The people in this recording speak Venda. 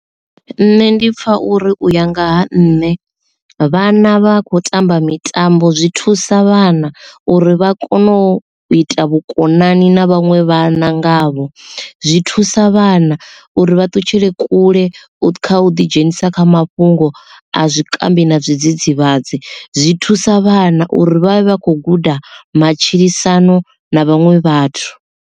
Nṋe ndi pfha uri uya ngaha nṋe vhana vha kho tamba mitambo zwi thusa vhana uri vha kone u ita vhukonani na vhanwe vhana ngavho, zwi thusa vhana uri vha ṱutshele kule kha u ḓi dzhenisa kha mafhungo a zwikambi na zwidzidzivhadzi zwi thusa, vhana uri vha vha khou guda matshilisano na vhaṅwe vhathu.